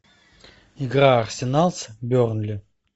игра арсенал с бернли